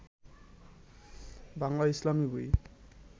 বাংলা ইসলামী বই